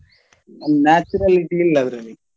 Naturality ಇಲ್ಲ ಅದ್ರಲ್ಲಿ.